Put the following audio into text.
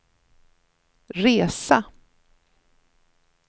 resa